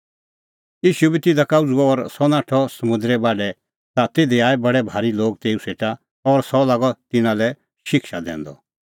ईशू बी तिधा का उझ़ुअ और सह नाठअ समुंदरे बाढै ता तिधी आऐ बडै भारी लोग तेऊ सेटा और सह लागअ तिन्नां लै शिक्षा दैंदअ